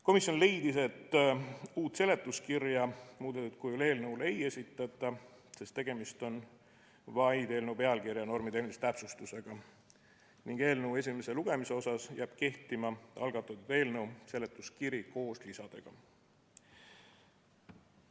Komisjon leidis, et uut seletuskirja muudetud kujul eelnõu kohta ei esitata, sest tegemist on vaid eelnõu pealkirja normitehnilise täpsustusega, ning eelnõu esimesel lugemisel jääb kehtima algatatud eelnõu seletuskiri koos lisadega.